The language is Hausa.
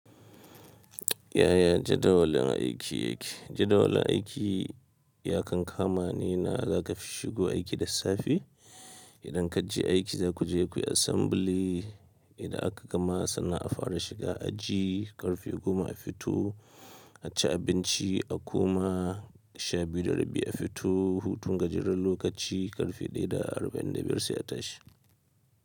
Yaya jadawalin aiki yake? Jadawalin aiki ya kan kamani na za ka shigo aiki da safe. Idan ka je aiki za ku je ku yi assembly. Idan aka gama sannan a fara shiga aji karfe goma a fito, a ci abinci a koma sha biyu da rabi a fito. Hutu ka jeran lokaci karfe ɗaya da arba'in da biyar sai a tashi.